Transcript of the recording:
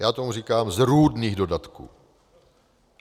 Já tomu říkám zrůdných dodatků.